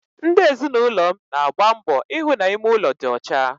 Ndi ezinụlọm na-agba mbọ ihụ na ime ụlọ dị ọcha